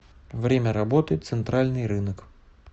время работы центральный рынок